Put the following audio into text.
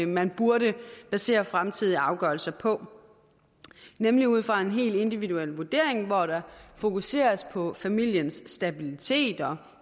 man burde basere fremtidige afgørelser på nemlig ud fra en helt individuel vurdering hvor der fokuseres på familiens stabilitet og